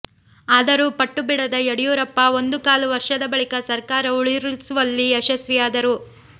ಆದರೂ ಪಟ್ಟು ಬಿಡದ ಯಡಿಯೂರಪ್ಪ ಒಂದೂ ಕಾಲು ವರ್ಷದ ಬಳಿಕ ಸರ್ಕಾರ ಉರುಳಿಸುವಲ್ಲಿ ಯಶಸ್ವಿಯಾದರು